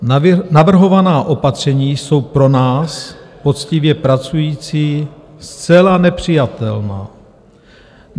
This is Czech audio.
Navrhovaná opatření jsou pro nás, poctivě pracující, zcela nepřijatelná.